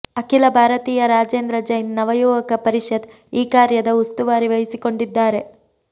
ಅಖಿಲ ಭಾರತೀಯ ರಾಜೇಂದ್ರ ಜೈನ್ ನವಯುವಕ ಪರಿಷತ್ ಈ ಕಾರ್ಯದ ಉಸ್ತುವಾರಿ ವಹಿಸಿಕೊಂಡಿದ್ದಾರೆ